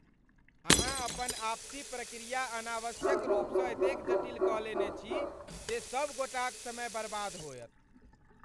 अहाँ अपन आपसी प्रक्रिया अनावश्यक रूपसँ एतेक जटिल कऽ लेने छी जे सभगोटाक समय बरबाद होयत।